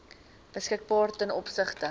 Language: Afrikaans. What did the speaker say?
beskikbaar ten opsigte